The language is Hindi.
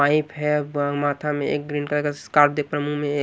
पाइप है व्माथा मेंएक ग्रीन कलर का स्कार्प देखपा रे मुह म ये --